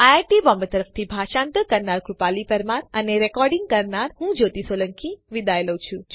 IIT Bombay તરફથી ભાષાંતર કરનાર હું કૃપાલી પરમાર વિદાય લઉં છું